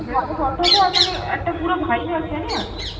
ভালো photo ওঠে আর মানে একটা পুরো vibe আছে না?